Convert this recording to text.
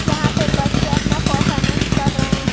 यहां पे बच्चे अपना परफॉर्मेंस कर रहे है।